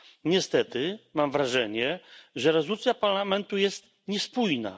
Niestety mam wrażenie, że rezolucja Parlamentu jest niespójna.